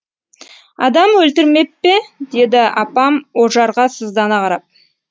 адам өлтірмеп пе деді апам ожарға сыздана қарап